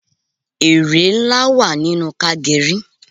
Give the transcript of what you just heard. Ère ńlá wà nínú ká geri